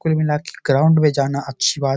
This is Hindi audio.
कुल मिला के ग्राउंड में जाना अच्छी बात --